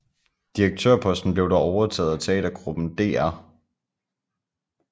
Direktørposten blev dog overtaget af teatergruppen Dr